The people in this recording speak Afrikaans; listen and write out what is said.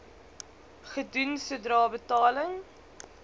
gedoen sodra betaling